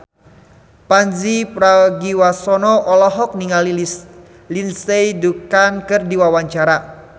Pandji Pragiwaksono olohok ningali Lindsay Ducan keur diwawancara